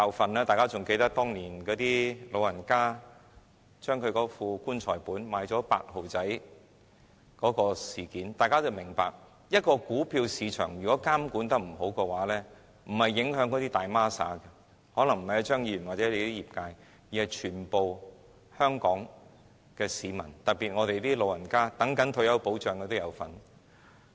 相信大家仍記得當年有長者用"棺材本"買入 "8 號仔"的事件，從事件中，大家不難明白若股票市場監管不當，受影響的不是"大孖沙"，也不是張議員或他代表的業界，而是全香港市民，特別是長者，以及一些等待退休保障的人。